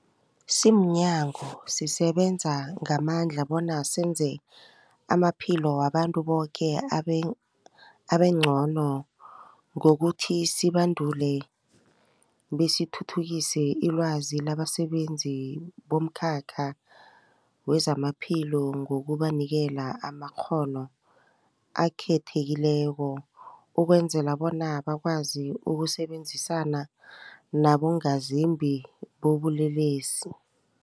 Simnyango, sisebenza ngamandla bona senze amaphilo wabantu boke abeng abengcono ngokuthi sibandule besithuthukise ilwazi labasebenzi bomkhakha wezamaphilo ngokubanikela amakghono akhethekileko ukwenzela bona bakwazi ukusebenzisana nabongazimbi bobulelesi.